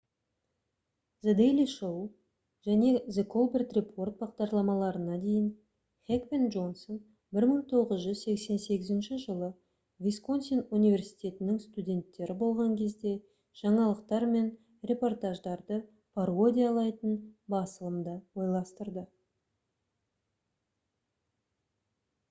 the daily show және the colbert report бағдарламаларына дейін хек пен джонсон 1988 жылы висконсин университетінің студенттері болған кезде жаңалықтар мен репортаждарды пародиялайтын басылымды ойластырды